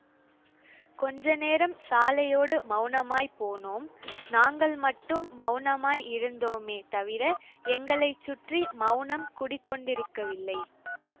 கொஞ்ச நேரம் சாலையோடு மௌனமாய் போனோம் நாங்கள் மட்டும் மௌனமாய் இருந்தோமே தவிர எங்களை சுற்றி மௌனம் குடிகொண்டிருக்கவில்லை